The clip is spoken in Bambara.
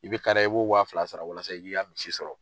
I bɛ kariya i b'o wa fila sara walasa i k'i ka misi sɔrɔ.